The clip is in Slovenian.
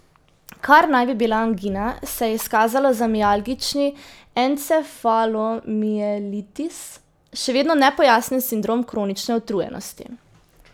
Kar naj bi bila angina, se je izkazalo za mialgični encefalomielitis, še vedno nepojasnjen sindrom kronične utrujenosti.